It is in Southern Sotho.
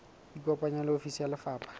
ikopanye le ofisi ya lefapha